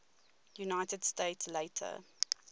united states later